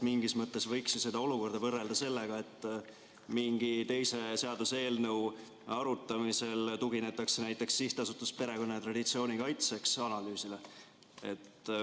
Mingis mõttes võiks ju seda olukorda võrrelda sellega, et mingi teise seaduseelnõu arutamisel tuginetakse näiteks SA Perekonna ja Traditsiooni Kaitseks analüüsile.